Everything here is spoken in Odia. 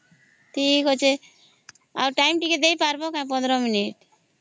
ଠିକ ଅଛେ ଆଉ ଟାଇମ ଟିକେ ଦେଇ ପାରିବନା ପନ୍ଦର ମିନଟ